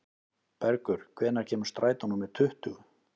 Bergur, hvenær kemur strætó númer tuttugu?